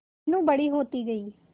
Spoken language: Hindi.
मीनू बड़ी होती गई